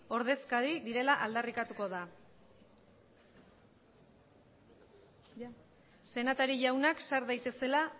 ordezkari direla aldarrikatuko da senatari jaunak sar daitezela